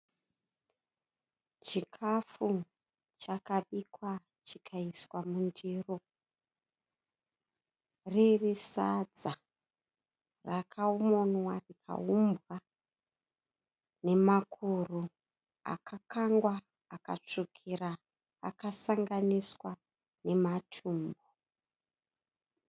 Chikafu chakabikwa chikaiswa mundiro. Riri sadza rakamonwa rikaumbwa nemakuru akakangwa akatsvukira akasanganiswa nematumbu.